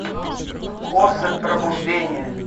особь пробуждение